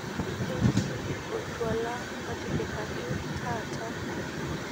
ketii oltwala otipikaki taata